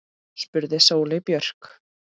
spurði Sóley Björk.